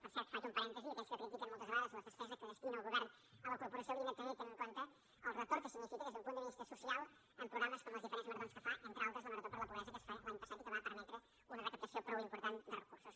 per cert faig un parèntesi aquells que critiquen moltes vegades la despesa que destina el govern a la corporació haurien també de tenir en compte el retorn que signifiquen des d’un punt de vista social programes com les diferents maratons que fa entre altres la marató per la pobresai que va permetre una recaptació prou important de recursos